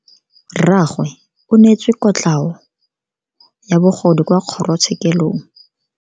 Rragwe o neetswe kotlhao ya bogodu kwa kgoro tshekelong.